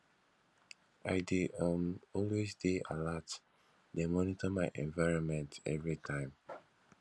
i dey um always dey alert dey monitor my environment everytime